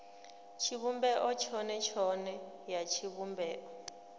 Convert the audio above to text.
tshivhumbeo tshone tshone ya tshivhumbeo